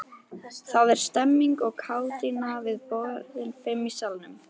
Það er stemmning og kátína við borðin fimm í salnum.